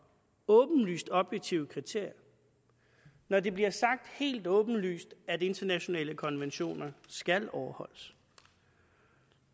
åbenlyst objektive kriterier når det bliver sagt helt åbenlyst at internationale konventioner skal overholdes